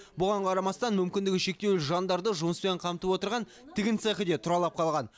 бұған қарамастан мүмкіндігі шектеулі жандарды жұмыспен қамтып отырған тігін цехі де тұралап қалған